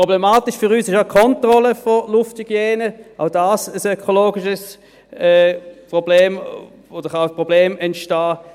Problematisch für uns ist auch die Kontrolle der Lufthygiene, auch dies ein ökologisches Problem – oder es kann ein Problem entstehen.